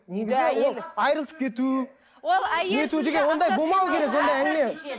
негізі ол айырылысып кету деген ондай болмау керек ондай әңгіме